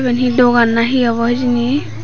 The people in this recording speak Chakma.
iben hi dogan na hi abow hijeni.